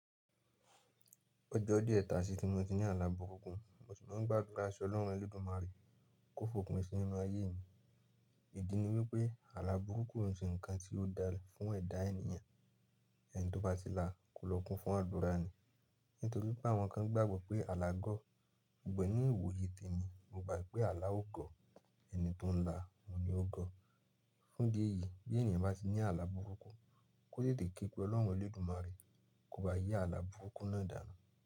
Ọjọ́ díẹ̀ tasi ti mo ti ní àlà burúkú mo sì máa ń gbàdúrà sí ọlọ́run Elédùmarè kó fòpin sí ninú ayé mi. Ìdí ni wípé àlà burúkú o n ṣe ǹkan tí ó dáa fún ẹ̀dá ènìyàn, ẹni tó bá ti lá, kò lọ́kùn fún àdúra ni. Nítorí pé àwọn kan gbàgbọ́ pé alágọ̀, ṣugbọn ní ìwòye tẹmi, mo gbà pé àlá ó gọ̀, ẹni tó n lá, òun ni ó gọ̀. Fún idi ẹyi bí ènìyàn bá ti ní àlà burúkú, kó tètè képe ọlọ́run Elédùmarè kó ba yí àlà burúkú náà dànù.